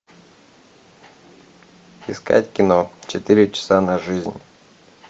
искать кино четыре часа на жизнь